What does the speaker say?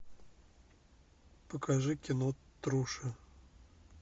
покажи кино труша